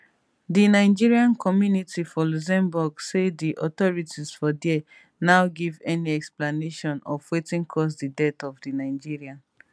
di nigerian community for luxembourg say di authorities for dia now give any explanation of wetin cause di death of di nigerian